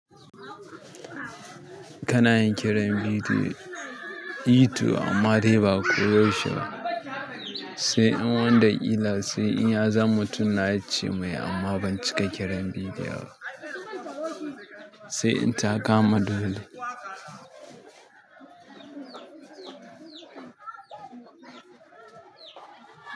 Kana yin kiran bidiyo YouTube amma dai ba koyaushe ba. Sai in wanda illa sai in ya zama tunna ce mai amma ban cika kiran vidiyo ba. Sai in ta kama dole.